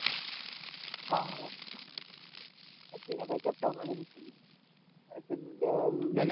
वीस